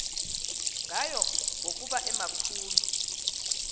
ngayo ngokuba emakhulu